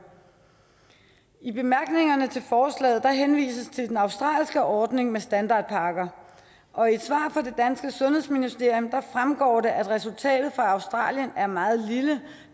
i bemærkningerne til forslaget henvises til den australske ordning med standardpakker og i et svar fra det danske sundhedsministerium fremgår det at resultatet fra australien er meget lille